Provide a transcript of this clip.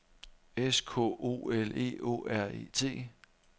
S K O L E Å R E T